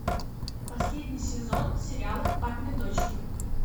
последний сезон сериала папины дочки